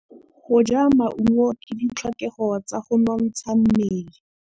Go ja maungo ke ditlhokegô tsa go nontsha mmele.